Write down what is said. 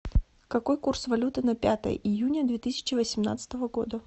какой курс валюты на пятое июня две тысячи восемнадцатого года